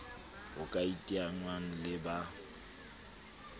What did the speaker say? ho ka iteangwang le ba